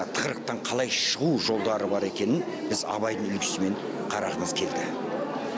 тығырықтан қалай шығу жолдары бар екенін біз абайдың үлгісімен қарағымыз келді